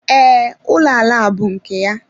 Ee, ụlọ ala a bú nke ya.